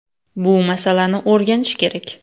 “Bu masalani o‘rganish kerak.